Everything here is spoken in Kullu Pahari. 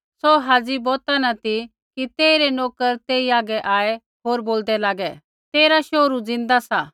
सौ हाज़ी बोता न ती कि तेइरै नोकर तेई हागै आऐ होर बोलदै लागे तेरा शोहरू ज़िन्दा सा